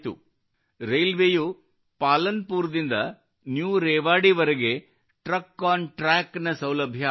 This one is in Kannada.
ರೈಲ್ವೇಯು ಪಾಲನ್ ಪೂರ್ ದಿಂದ ನ್ಯೂ ರೇವಾಡಿವರೆಗೆ ಟ್ರಕ್ ಆನ್ ಟ್ರಕ್ ನ ಸೌಲಭ್ಯ ಆರಂಭಿಸಿತು